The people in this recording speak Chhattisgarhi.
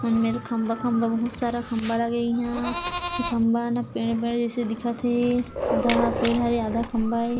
ए मेर खम्बा खम्बा बहुत सारा खम्बा लगे इहाँ ए खम्बा मन ह पेड़-पेड़ जइसे दिखत हे आधा ह पेड़ हरे आधा खम्बा हे।